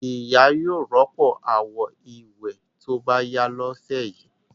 Ìyá yóò rọ́pò àwo-ìwẹ̀ tó bá yá lọ́sẹ̀ yìí.